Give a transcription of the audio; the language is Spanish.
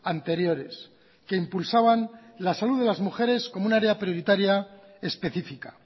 anteriores que impulsaban la salud de las mujeres como un área prioritaria especifica